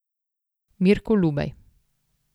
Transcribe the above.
Mirko Lubej.